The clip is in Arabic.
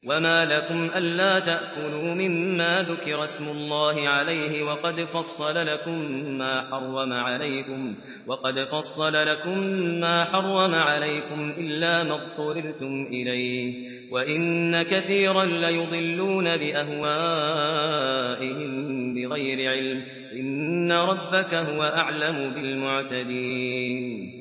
وَمَا لَكُمْ أَلَّا تَأْكُلُوا مِمَّا ذُكِرَ اسْمُ اللَّهِ عَلَيْهِ وَقَدْ فَصَّلَ لَكُم مَّا حَرَّمَ عَلَيْكُمْ إِلَّا مَا اضْطُرِرْتُمْ إِلَيْهِ ۗ وَإِنَّ كَثِيرًا لَّيُضِلُّونَ بِأَهْوَائِهِم بِغَيْرِ عِلْمٍ ۗ إِنَّ رَبَّكَ هُوَ أَعْلَمُ بِالْمُعْتَدِينَ